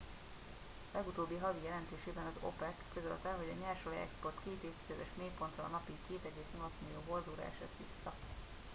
legutóbbi havi jelentésében az opec közölte hogy a nyersolajexport két évtizedes mélypontra napi 2,8 millió hordóra esett vissza